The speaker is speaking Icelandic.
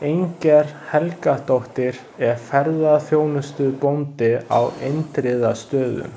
Inger Helgadóttir er ferðaþjónustubóndi á Indriðastöðum.